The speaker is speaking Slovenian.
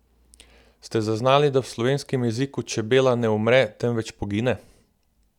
Ste zaznali, da v slovenskem jeziku čebela ne umre, temveč pogine?